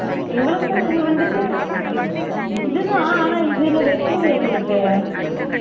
எங்களுக்கு இது வந்துட்டு இது தான் ஆனா இதுல வைக்கலயே எங்களுக்கு